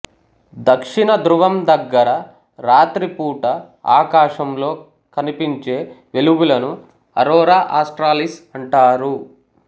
దక్షిణ ధ్రువం దగ్గర రాత్రి పూట ఆకాశంలో కనిపించే వెలుగులను అరోరా ఆస్ట్రాలిస్ అంటారు